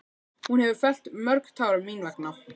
Hún hefur fellt mörg tár mín vegna.